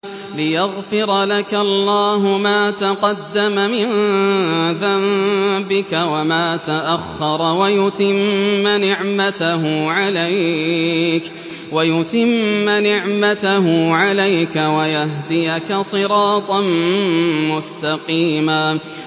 لِّيَغْفِرَ لَكَ اللَّهُ مَا تَقَدَّمَ مِن ذَنبِكَ وَمَا تَأَخَّرَ وَيُتِمَّ نِعْمَتَهُ عَلَيْكَ وَيَهْدِيَكَ صِرَاطًا مُّسْتَقِيمًا